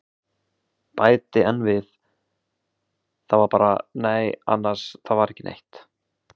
Bæti enn við, það var bara- nei annars, það var ekki neitt.